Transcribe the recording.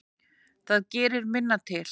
Það gerir minna til.